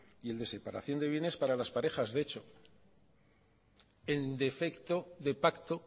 y el de separación de bienes para las parejas de hecho en defecto de pacto